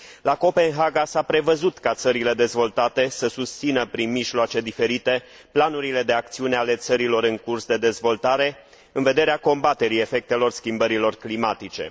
La Copenhaga s a prevăzut ca țările dezvoltate să susțină prin mijloace diferite planurile de acțiune ale țărilor în curs de dezvoltare în vederea combaterii efectelor schimbărilor climatice.